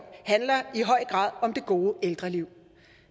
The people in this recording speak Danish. handler i høj grad om det gode ældreliv